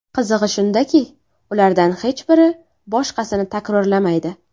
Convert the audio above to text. Qizig‘i shundaki, ulardan hech biri boshqasini takrorlamaydi.